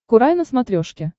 курай на смотрешке